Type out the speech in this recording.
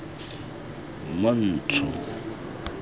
montsho